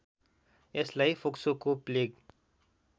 यसलाई फोक्सोको प्लेग